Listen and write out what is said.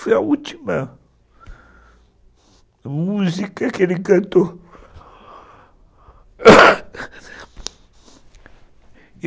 Foi a última música que ele cantou (choro e tosse)